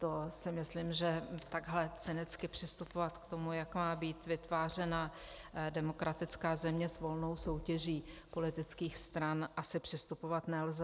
To si myslím, že takhle cynicky přistupovat k tomu, jak má být vytvářena demokratická země s volnou soutěží politických stran, asi přistupovat nelze.